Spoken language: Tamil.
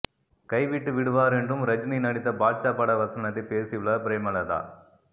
கைவிட்டு விடுவார் என்றும் ரஜினி நடித்த பாட்சா பட வசனத்தை பேசியுள்ளார் பிரேமலதா